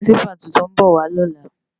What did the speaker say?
Pirinsipá tútún bò lòlá